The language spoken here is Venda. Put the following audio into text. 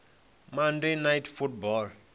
monday night football